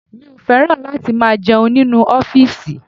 Mi ò fẹ́ràn láti máa jẹun nínú ọ́fìsì